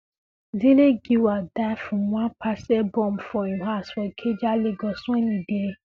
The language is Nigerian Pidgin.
dele giwa die from one parcel bomb for im house for ikeja lagos wen e dey um